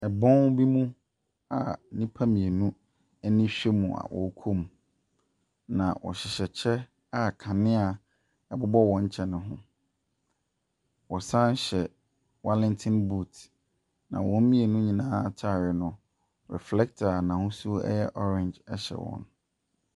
Bɔn bi mu a nnipa mmienu ani hwɛ mu a wɔrekɔ mu, na wɔhyehyɛ kyɛ a kanea bobɔ wɔn kyɛ no ho. Wɔsan hyɛ warrenty boot, na wɔn mmienu nyinaa atare no, reflector a n'ahosuo yɛ orange hyɛ wɔn.